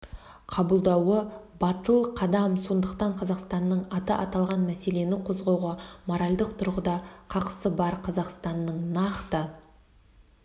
қабылдауы батыл қадам сондықтан қазақстанның аты аталған мәселені қозғауға моральдық тұрғыда қақысы бар қазақстанның нақты